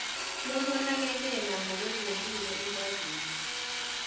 lokunakekela ngokwezempilo ikwazulu